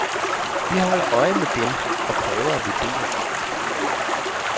Vi holder øje med dem og prøver at vurdere alt.